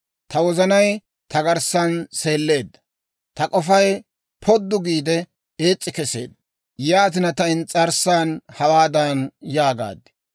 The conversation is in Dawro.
Ta wozanay ta garssan seeleedda; ta k'ofay poddu giide, ees's'i keseedda. Yaatina, ta ins's'arssan hawaadan yaagaad: